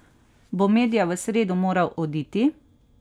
Bo Medja v sredo moral oditi?